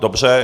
Dobře.